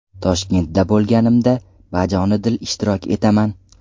Toshkentda bo‘lganimda bajonidil ishtirok etaman.